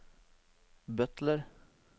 butler